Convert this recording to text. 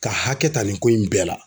Ka hakɛ ta nin ko in bɛɛ la.